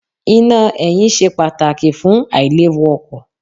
Iná ẹ̀yìn ṣe pàtàkì fún àìléwu ọkọ̀.